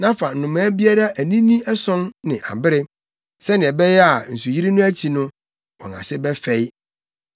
Na fa nnomaa biara anini ason ne abere, sɛnea ɛbɛyɛ a nsuyiri no akyi no, wɔn ase bɛfɛe.